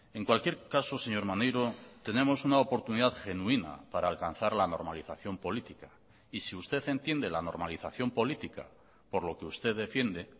en cualquier caso señor maneiro tenemos una oportunidad genuina para alcanzar la normalización política y si usted entiende la normalización política por lo que usted defiende